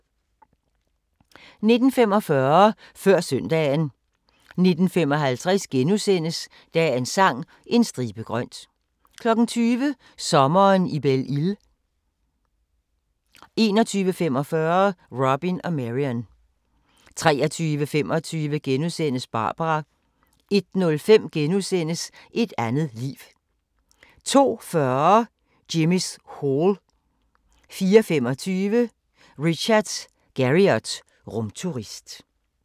19:45: Før søndagen 19:55: Dagens Sang: En stribe grønt * 20:00: Sommeren i Belle Isle 21:45: Robin og Marian 23:25: Barbara * 01:05: Et andet liv * 02:40: Jimmy's Hall 04:25: Richard Garriott – rumturist